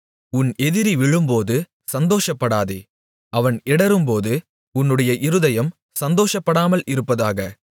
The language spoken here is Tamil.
உன் எதிரி விழும்போது சந்தோஷப்படாதே அவன் இடறும்போது உன்னுடைய இருதயம் சந்தோஷப்படாமல் இருப்பதாக